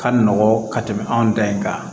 Ka nɔgɔn ka tɛmɛ anw da in kan